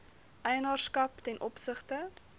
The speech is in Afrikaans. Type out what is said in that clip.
eienaarskap ten opsigte